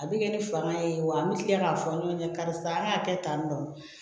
A bɛ kɛ ni fanga ye wa an bɛ tila k'a fɔ ɲɔgɔn ɲɛna karisa an y'a kɛ tan tɔ